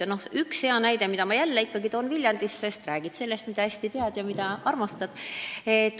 Ja toon veel ühe hea näite Viljandi kohta, sest ikka räägid ju sellest, mida hästi tead ja armastad.